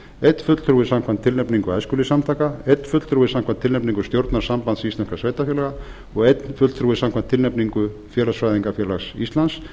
einn fulltrúi samkvæmt tilnefningu æskulýðssamtaka einn fulltrúi samkvæmt tilnefningu stjórnar sambands íslenskra sveitarfélaga og einn fulltrúi samkvæmt tilnefningu félagsfræðingafélags íslands